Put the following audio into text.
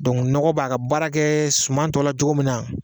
nɔgɔ b'a ka baara kɛ suma tɔ la cogo min na